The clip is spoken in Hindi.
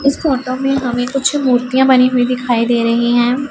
इस फोटो में हमें कुछ मूर्तियां बनी हुई दिखाई दे रही हैं।